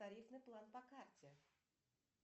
тарифный план по карте